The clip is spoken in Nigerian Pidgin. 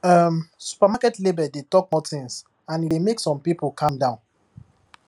um supermarket label dey talk more things and e dey make some people calm down